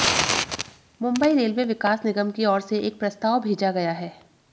Mumbai railway विकास निगम की ओर से एक प्रस्ताव भेजा गया है